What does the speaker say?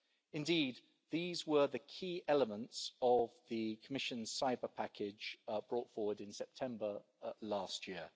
Indeed, these were the key elements of the Commission's cyber package brought forward in September last year.